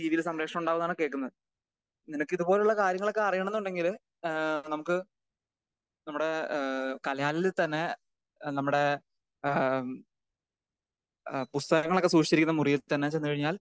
സംപ്രേഷണം ഉണ്ടാകുമെന്നാണ് കേൾക്കുന്നത്. നിനക്ക് ഇത് പോലുള്ള കാര്യങ്ങള് ഒക്കെ അറിയണം ന്നുണ്ടെങ്കില് ഏഹ് നമുക്ക് ഏഹ് നമ്മുടെ ഏഹ് കലാലയത്തിൽ തന്നെ ഏഹ് നമ്മുടെ ഏഹ് നമ്മുടെ പുസ്തകങ്ങളൊക്കെ സൂക്ഷിച്ചിരിക്കുന്ന മുറിയിൽ തന്നെ ചെന്ന് കഴിഞ്ഞാൽ